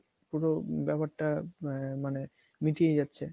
পুরো ব্যাপারটা মানে মিটিয়ে যাচ্ছে